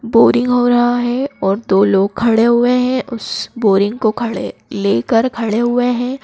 Boring हो रहा है और दो लोग खड़े हुए हैं उस बोरिंग को खड़े लेकर खड़े हुए हैं।